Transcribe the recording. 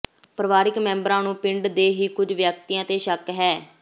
ਪਰਿਵਾਰਕ ਮੈਂਬਰਾਂ ਨੰੂ ਪਿੰਡ ਦੇ ਹੀ ਕੁਝ ਵਿਅਕਤੀਆਂ ਤੇ ਸ਼ੱਕ ਹੈ